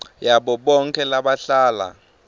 yabo bonkhe labahlala